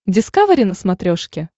дискавери на смотрешке